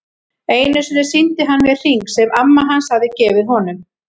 Einu sinni sýndi hann mér hring sem amma hans hafði gefið honum.